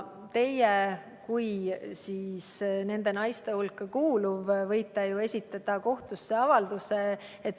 Teie kui nende naiste hulka kuuluja võite esitada kohtusse avalduse.